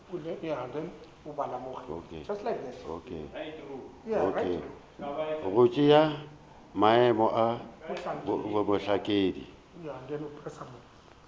go tšea maemo a bohlankedi